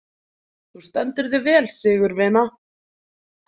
Þú stendur þig vel, Sigurvina!